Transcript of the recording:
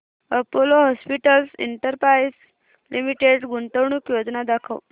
Apollo hospitals enterprise limited गुंतवणूक योजना दाखव